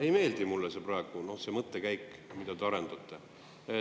Ei meeldi mulle praegu see mõttekäik, mida te arendate.